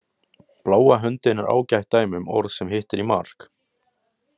Bláa höndin er ágætt dæmi um orð sem hittir í mark.